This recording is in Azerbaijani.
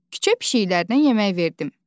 Küçə pişiklərini yemək verdim.